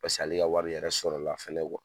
ale ka wari yɛrɛ sɔrɔla fana